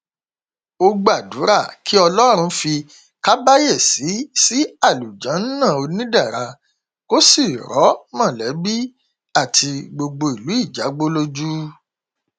ó gbàdúrà kí ọlọrun fi kàbàyèsí sí àlùjánnà onídẹra kó sì rọ mọlẹbí àti gbogbo ìlú ìjágbó lójú